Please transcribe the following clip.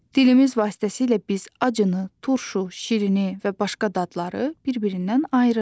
Dilimiz vasitəsilə biz acını, turşunu, şirini və başqa dadları bir-birindən ayırırıq.